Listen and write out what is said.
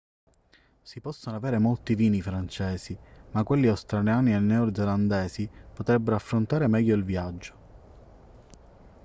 si possono avere molti vini francesi ma quelli australiani e neozelandesi potrebbero affrontare meglio il viaggio